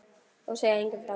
Og segja engum frá því.